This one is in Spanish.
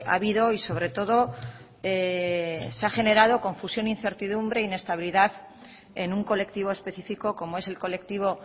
habido y sobre todo se ha generado confusión incertidumbre inestabilidad en un colectivo específico como es el colectivo